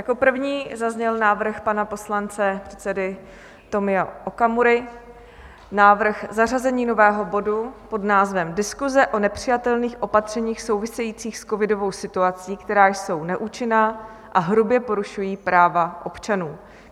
Jako první zazněl návrh pana poslance... předsedy Tomia Okamury, návrh zařazení nového bodu pod názvem Diskuse o nepřijatelných opatřeních souvisejících s covidovou situací, která jsou neúčinná a hrubě porušují práva občanů.